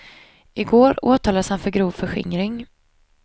I går åtalades han för grov förskingring.